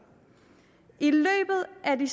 er det